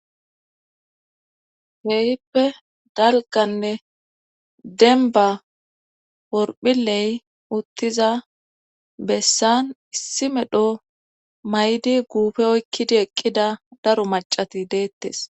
Kehippe dalganne denba porphiley uttiza bessan issi medho maydi guufe oykkidi eqqida daro macati deettes